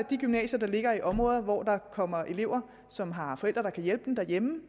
de gymnasier der ligger i områder hvor der kommer elever som har forældre der kan hjælpe dem derhjemme og